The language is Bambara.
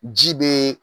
Ji be